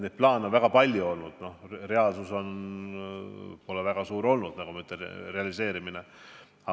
Neid plaane on palju olnud, nende realiseerimine pole suurt teostunud.